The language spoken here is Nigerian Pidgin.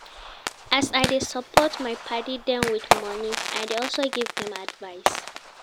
As I dey support my paddy dem wit moni, I dey also give dem advice.